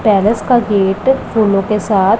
terrace का gate फूलों के साथ--